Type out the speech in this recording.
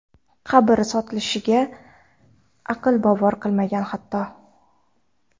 Qabr sotilishiga aql bovar qilmagan, hatto.